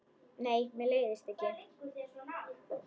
Nei, mér leiðist ekki.